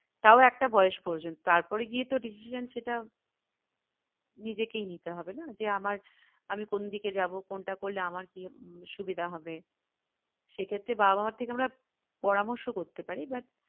তাও একটা বয়স পর্যন্ত তারপরে গিয়ে তো decision সেটা নিজেকেই নিতে হবে না যে আমার আমি কোন দিকে যাবো কোনটা করলে আমার কি সুবিধা হবে সেক্ষেত্রে বাবা মায়ের থেকে আমরা পরামর্শ করতে পারি but